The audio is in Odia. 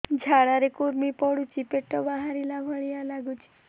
ଝାଡା ରେ କୁର୍ମି ପଡୁଛି ପେଟ ବାହାରିଲା ଭଳିଆ ଲାଗୁଚି